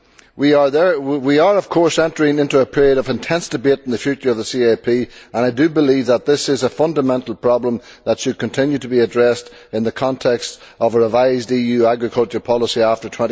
We are, of course, entering a period of intense debate on the future of the CAP, and I believe that this is a fundamental problem that should continue to be addressed in the context of a revised EU agricultural policy after